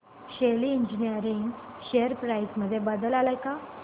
शेली engineering share price मध्ये बदल आलाय का